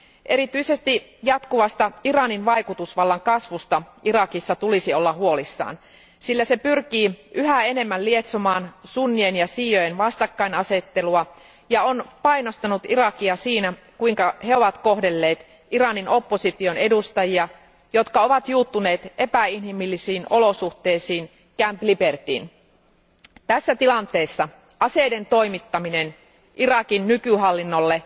Erityisesti jatkuvasta Iranin vaikutusvallan kasvusta Irakissa tulisi olla huolissaan, sillä se pyrkii yhä enemmän lietsomaan sunnien ja šiiojen vastakkainasettelua ja on painostanut Irakia siinä, kuinka he ovat kohdelleet Iranin opposition edustajia, jotka ovat juuttuneet epäinhimillisiin olosuhteisiin Camp Libertyyn. Tässä tilanteessa aseiden toimittaminen Irakin nykyhallinnolle